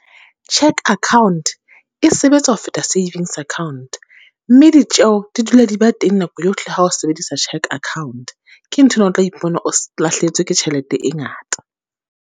Cheque account e sebetsa ho feta savings account, mme ditjeo di dula di ba teng nako yohle ha o sebedisa cheque account. Ke nthwena, o tla ipona o lahlehetswe ke tjhelete e ngata.